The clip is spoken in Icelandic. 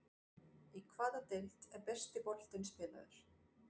Í hvaða deild er besti boltinn spilaður?